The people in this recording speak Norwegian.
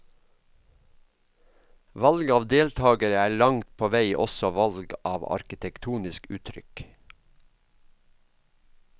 Valg av deltagere er langt på vei også valg av arkitektonisk uttrykk.